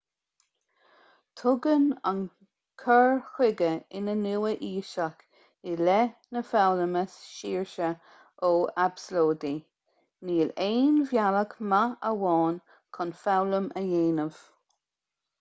tugann an cur chuige iar-nua-aoiseach i leith na foghlama saoirse ó absalóidí níl aon bhealach maith amháin chun foghlaim a dhéanamh